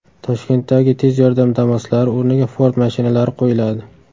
Toshkentdagi tez yordam Damas’lari o‘rniga Ford mashinalari qo‘yiladi.